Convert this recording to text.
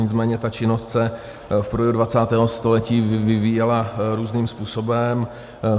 Nicméně ta činnost se v průběhu 20. století vyvíjela různým způsobem.